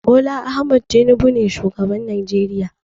Bola Ahmed Tinubu ne shugaban Najeriya.